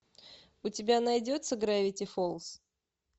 у тебя найдется гравити фолз